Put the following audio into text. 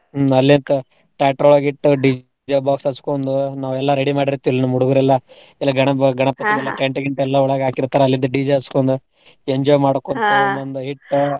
ಹ್ಮ್ ಅಲ್ಲಿಂದ tractor ಒಳ್ಗ ಇಟ್ಟ್ DJ box ಹಚ್ಚಗೊಂಡು ನಾವೆಲ್ಲ ready ಮಾಡಿರ್ತಿವ್ ನಮ್ ಹುಡ್ಗೂರ್ ಎಲ್ಲಾ. ಎಲ್ಲಾ ಗಣಪ್ಪಗ್ ಎಲ್ಲಾ tent ಗಿಂಟ ಎಲ್ಲ ಒಳ್ಗ ಹಾಕಿರ್ತಾರಾ ಅಲ್ಲಿಂದ DJ ಹಚ್ಚಗೊಂಡು enjoy ಹಿಟ್ಟ್.